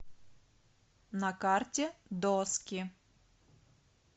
на карте доски